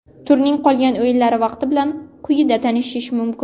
Turning qolgan o‘yinlari vaqti bilan quyida tanishish mumkin.